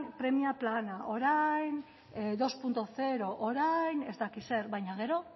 premia plana orain bi puntu zero orain ez dakit zer baina gero